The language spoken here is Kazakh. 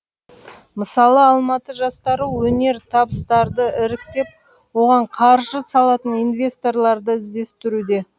мысалы алматы жастары өнертабыстарды іріктеп оған қаржы салатын инвесторларды ідестіруде